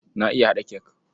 Na iya haɗa cake.